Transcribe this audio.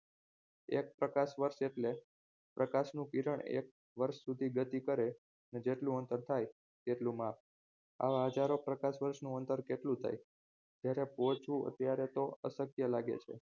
એક પ્રકાશ વર્ષ એટલે પ્રકાશનું કિરણ એક વર્ષ સુધી ગતિ કરે અને જેટલું અંતર થાય તેટલું માપ આવા હજારો પ્રકાશ વર્ષનું અંતર કેટલું થાય ત્યારે પોહચવું અત્યારે તો અશક્ય લાગે છે